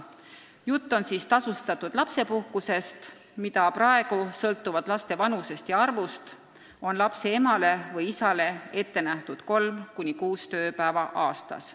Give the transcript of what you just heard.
Jutt on tasustatud lapsepuhkusest, mida praegu sõltuvalt laste vanusest ja arvust on emale või isale ette nähtud kolm kuni kuus tööpäeva aastas.